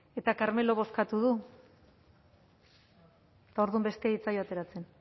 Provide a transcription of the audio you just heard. eta carmelok bozkatu du eta orduan besteari ez zaio ateratzen